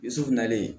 I dusukunnalen